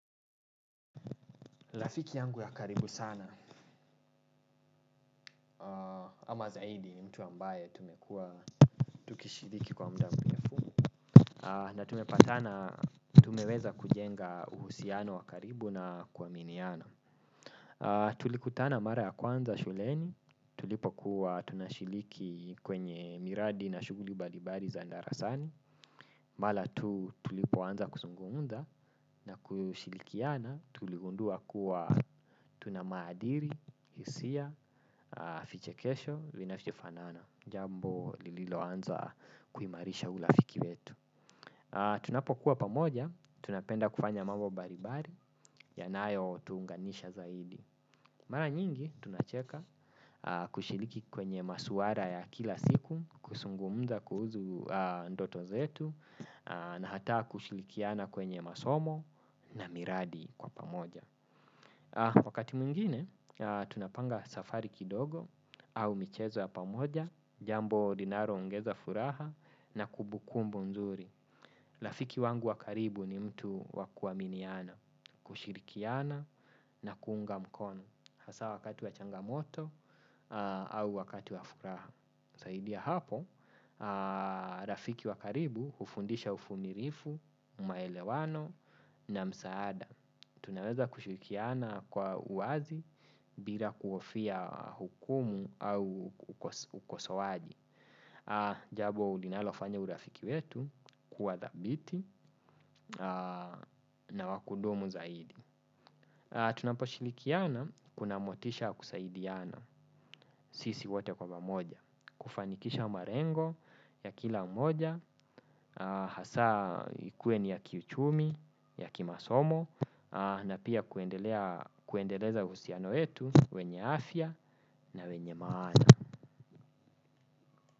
Rafiki yangu ya karibu sana ama zaidi mtu ambaye tumekuwa tukishiriki kwa muda mrefu na tumepatana tumeweza kujenga uhusiano wa karibu na kuaminiana. Tulikutana mara ya kwanza shuleni tulipo kuwa tunashiriki kwenye miradi na shughuli mbalimbali za darasani. Mara tu tulipoanza kuzungumza na kushirikiana tuligundua kuwa tuna maadili, hisia, fiche kesho, vinavyo fanana. Jambo lililo anza kuimarisha urafiki wetu. Tunapokuwa pamoja, tunapenda kufanya mambo mbalimbali, yanayo tuunganisha zaidi. Mara nyingi tunacheka kushiriki kwenye masuala ya kila siku, kuzungumza kuhusu ndoto zetu. Na hata kushirikiana kwenye masomo na miradi kwa pamoja. Wakati mwingine tunapanga safari kidogo au michezo ya pamoja. Jambo linalo ongeza furaha na kumbukumbu nzuri. Rafiki wangu wa karibu ni mtu wa kuaminiana. Kushirikiana na kuunga mkono hasa wakati wa changamoto au wakati wa furaha zaidi ya hapo, rafiki wa karibu hufundisha uvumilivu, na maelewano na msaada. Tunaweza kushirikiana kwa uwazi bila kuhofia hukumu au ukosowaji. Jambo linalofanya urafiki wetu kuwa thabiti na wa kudumu zaidi. Tunapo shirikiana kuna motisha ya kusaidiana sisi wote kwa mamoja. Kufanikisha malengo ya kila mmoja hasa ikuwe ni ya kiuchumi, ya kimasomo na pia kuendelea kuendeleza uhusiano wetu wenye afya na wenye maana.